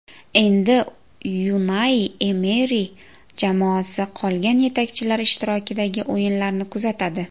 Endi Unai Emeri jamoasi qolgan yetakchilar ishtirokidagi o‘yinlarni kuzatadi.